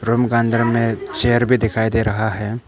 Room का अंदर में चेयर भी दिखाई दे रहा है।